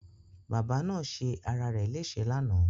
Bàbá náà ṣe ara rẹ̀ lẹ́sẹ̀ lánàá